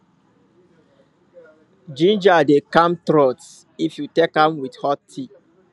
ginger dey calm throat if you take am with hot tea